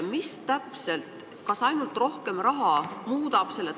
Mis täpselt – kas ainult rohkem raha?